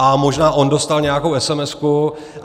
A možná on dostal nějakou esemesku.